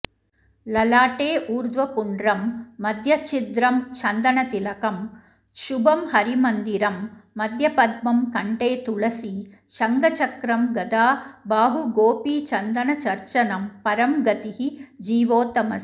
ललाटे ऊर्ध्वपुण्ड्रं मध्यच्छिद्रं चन्दनतिलकं शुभं हरिमन्दिरं मध्यपद्मं कण्ठेतुलसी शङ्खचक्रं गदा बाहुगोपीचन्दनचर्चनं परं गतिः जीवोत्तमस्य